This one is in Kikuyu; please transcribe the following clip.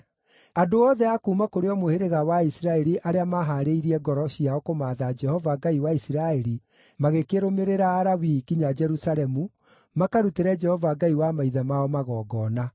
Andũ othe a kuuma kũrĩ o mũhĩrĩga wa Isiraeli arĩa maahaarĩirie ngoro ciao kũmaatha Jehova, Ngai wa Isiraeli, magĩkĩrũmĩrĩra Alawii nginya Jerusalemu makarutĩre Jehova Ngai wa maithe mao magongona.